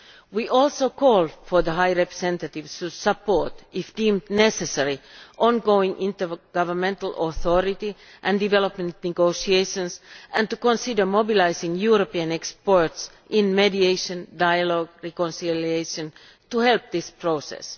We also call for the High Representative to support, if it is deemed necessary, on going intergovernmental authority and development negotiations, and to consider mobilising European experts in mediation, dialogue and reconciliation in order to help this process.